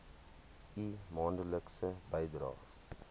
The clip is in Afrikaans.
u maandelikse bydraes